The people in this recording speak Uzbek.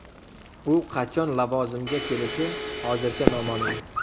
U qachon lavozimga kelishi hozircha noma’lum.